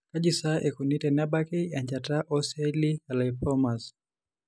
Kaji sa eikoni tenebaki enchata ooceelli elymphomas?